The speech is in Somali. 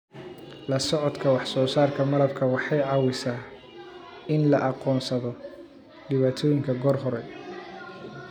La-socodka wax-soo-saarka malabka waxay caawisaa in la aqoonsado dhibaatooyinka goor hore.